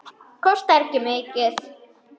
Kostar ekki mikið.